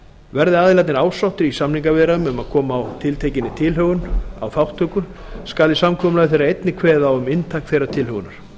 verði aðilarnir ásáttir í samningaviðræðum um að koma á tiltekinni tilhögun á þátttöku skal í samkomulagi þeirra einnig kveðið á um inntak þeirrar tilhögunar